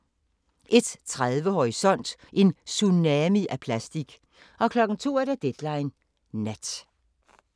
01:30: Horisont: En tsunami af plastik 02:00: Deadline Nat